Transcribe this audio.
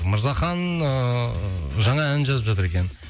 мырзахан ыыы жаңа ән жазып жатыр екен